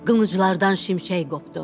Qılınclardan şimşək qopdu.